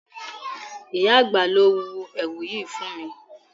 Ìyá àgbà ló hun èwù yìí fún mi.